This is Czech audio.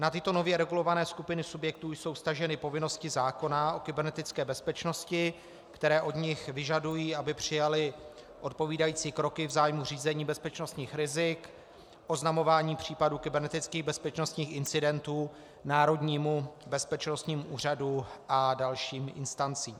Na tyto nově regulované skupiny subjektů jsou vztaženy povinnosti zákona o kybernetické bezpečnosti, které od nich vyžadují, aby přijali odpovídající kroky v zájmu řízení bezpečnostních rizik, oznamování případů kybernetických bezpečnostních incidentů Národnímu bezpečnostnímu úřadu a dalším instancím.